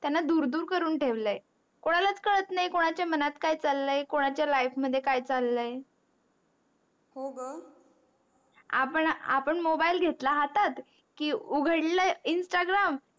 त्यांना दूर दूर करून ठेवल आहे. कोणालाच कळत नाही कोणाच्या मनात काय चालय कोणाचा life मध्ये काय चालय हो ग आपण आपण mobile घेतला हातात की उगडल instagram